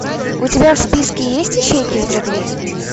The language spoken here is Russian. у тебя в списке есть ищейки с бродвея